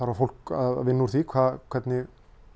var fólk að vinna úr því hvernig